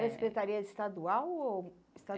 Eh era Secretaria Estadual ou